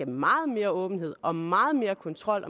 meget mere åbenhed og meget mere kontrol